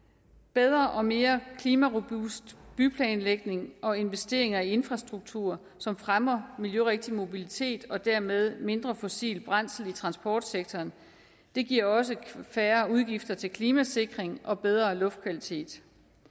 bedre og mere klimarobust byplanlægning og investeringer i infrastruktur som fremmer miljørigtig mobilitet og dermed mindre fossilt brændsel i transportsektoren giver også færre udgifter til klimasikring og bedre luftkvalitet